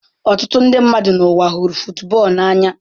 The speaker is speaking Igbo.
Ọtụtụ ndị mmadụ n'ụwa hụrụ football n'anya.